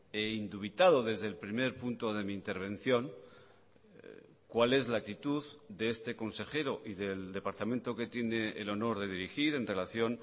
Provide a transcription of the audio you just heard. e indubitado desde el primer punto de mi intervención cuál es la actitud de este consejero y del departamento que tiene el honor de dirigir en relación